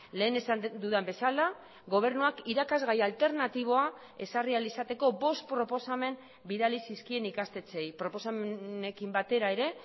lehen esan dudan bezala gobernuak irakasgai alternatiboa ezarri ahal izateko bost proposamen bidali zizkien ikastetxeei proposamenekin batera ere